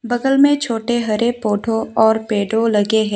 बगल में छोटे हरे पौधों और पेड़ो लगे हैं।